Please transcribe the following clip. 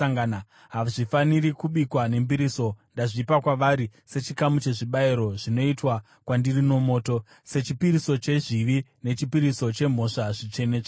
Hazvifaniri kubikwa nembiriso, ndazvipa kwavari sechikamu chezvibayiro zvinoitwa kwandiri nomoto. Sechipiriso chezvivi nechipiriso chemhosva, zvitsvene-tsvene.